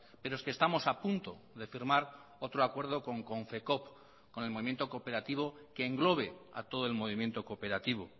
pero es que estamos a punto de firmar otro acuerdo con confecoop con el movimiento cooperativo que englobe a todo el movimiento cooperativo